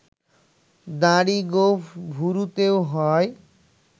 দাড়ি, গোঁফ, ভ্রুতেও হয়